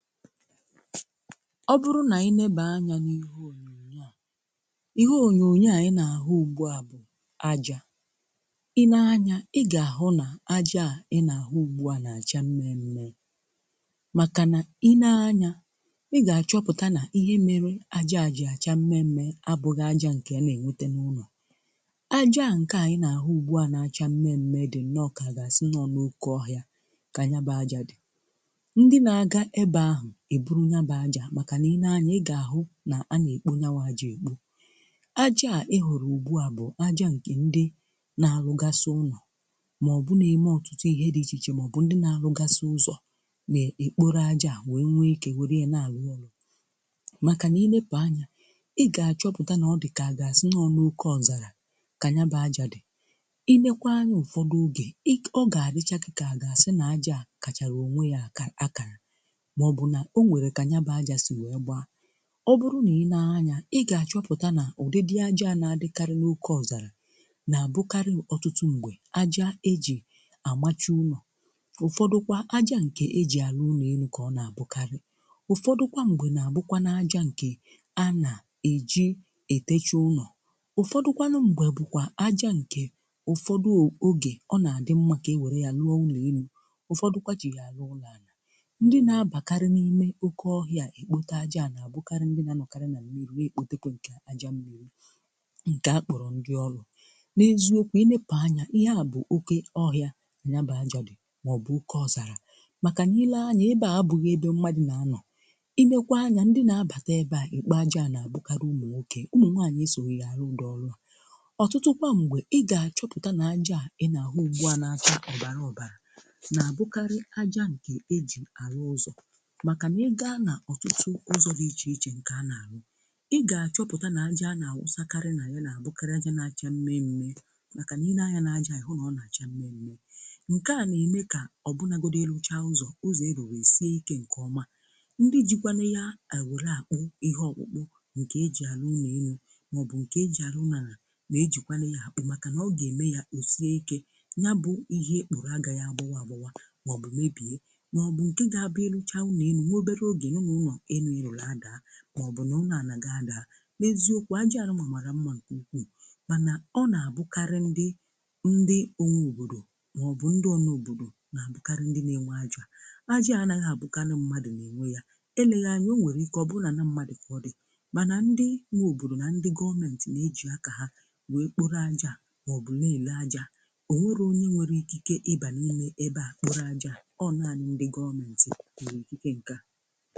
Ọ bụrụ nà ị na-ebe anya n’ihe ònyonyo à, ihe ònyonyo à, ị na-ahụ ugbu à bụ ajà. I nee anya, ị gà-ahụ nà-ajà a ị nà-ahụ ugbu à nà-àcha mme mme màkà nà ịlee anya, ị gà-achọpụta nà ihe mere ajà ji àcha mme mme abụgha ajà ǹkè a na-enwete n’ụlọ. Ajà a ǹkè ànyị na-ahụ ugbu à nà-àcha mme mme dị nnọ ka ga sị nọ n’okọ ọhịa kà yabụ ajà dị. Ndị na-aga ebeghu ebụrụ yabụ ajà maka na ị nee anya ị ga-ahụ na-anakpo yabụ ajà ekpo. Ajaa ị hụrụ ugbu a bu aja nke ndị n'arugasi ụnọ ma ọ bụ n'ime ihe otụtụ dị ịche iche ma ọ bụ ndi n'arụgasi ụzọ na-ekpọrọ aja nwe wee ike were n'arụ ọrụ maka na ị nepụ anya, ị ga-achọpụta na ọ dika agasi na oke ozala ka yabu aja, ị neekwa anya ụfọdụ oge, ị, ọgadicha gi ga-agasi na-aja kachara onwe ya aka, akara ma ọ bụ na onwere ka yabụ aja si wee gbaa, ọ bụrụ nà i nee anya, ị gà-achọpụta nà ụdị dị ajà na-adịkarị n’ọke ọzọlà nà-àbụkarị ọ̀tụtụ m̀gbè aja e jì àmachi ụlọ; ụfọdụkwa aja ǹkè e jì àlụ ụlọ elu kà ọ nà-àbụkarị. Ụfọdụkwa m̀gbè nà-àbụ kwanu aja ǹkè a nà-eji etecha ụlọ; ụfọdụkwanụ m̀gbè bụ àjà ǹkè ụfọdụ oge, ọ nà-adị mma kà e wère yà lụọ ụlọ elu. Ụfọdụ kwa jì yà àlụ ụlọ àna. Ndi n'abakari n'ime okọ ọhịa ekpote aja à nà àbụkarị ndị na-anọkarị na mmiri na-ekpòte kwe nke àjà mmiri nke akpọrọ ndị ọlụ. N’eziokwu, ilepụ anya, ihe à bụ oke ọhịa yabụ àjà dị mà ọ bụ oke ọzàlà màkà ile anya, ebe abụghị ebe mmadụ na-anọ, iIekwaa anyà ndị na-abàta ebe à ekpo aja à nà-àbụkarị ụmụ nwokè ụmụ nwaanyị esoghi yà arụ ụdiri ọlụ a. Ọ̀tụtụ kwa mgbe, ị ga-achọpụta na-ajà a ị nà ahụ ugbu à na-acha ọbarà ọbarà na-abụkarị àjà ǹkè eji àlụ ụzọ maka na ị ga n'ọtụtụ ụzọ dị iche iche nke a na-alụ, ị ga-achọpụta na aja na-awụsakarị na ya na-abụkarị aja na-acha mme mme màkà ile anya na-aja ịhụ na ọ na-acha mme mme nke na-eme ka ọ bụnagodụ elucha ụzọ ụzọ iruru esie ike nke ọma. Ndị jikwanụ yà ewere akpụ ihe ọkpụkpụ nke eji alụ ulọ elu mà ọ bụ nke eji alụ ulọ ana na-ejikwanụ ya akpụ màkà nà ọ ga-eme ya osie ike; yabụ ihe ikpuru agaghị agbawa agbawa mà ọ bụ mebie mà ọ bụ nke gabu ilucha ụlọ elu, nwa obere oge inụ na ulọ elụ iruru ada ma ọ bụ na ụlọ ana gi ada. N’eziokwu aja nụwa mara mma nke ụkwụụ màna ọ na-abụkarị ndị ndị onwe obodo mà ọ bụ ndị ọna obodo na-abụkarị ndị na-enwe aja a; aja ànagha àbụkanụ mmadụ na-enwe ya, eleghị anya, onwere ike ọ bụ na-ala mmadụ ka ọdị màna ndị nwe obodo na ndị gọọmenti na-eji aka ha wee kpọrọ aja mà ọ bụ na-ele aja a, onwero onye nwere ikike ịba n'ime ebe a kpọrọ aja, ọ naanị ndị gọọmenti nwere ikike nke a.